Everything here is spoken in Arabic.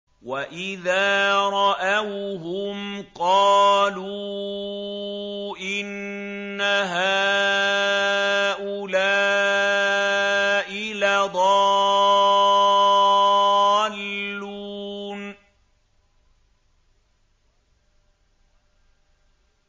وَإِذَا رَأَوْهُمْ قَالُوا إِنَّ هَٰؤُلَاءِ لَضَالُّونَ